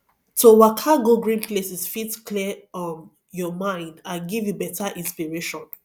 to waka go green places fit clear um your mind and give you better inspiration